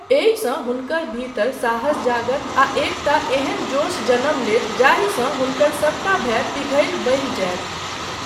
एहिसँ हुनकर भीतर साहस जागत आ एकटा एहन जोश जनम लेत जाहिसँ हुनकरसबटा भय पिघलि बहि जायत।